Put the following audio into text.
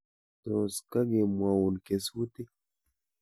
Tos kakemwaun kesutik?